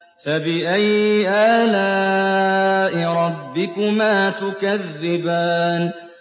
فَبِأَيِّ آلَاءِ رَبِّكُمَا تُكَذِّبَانِ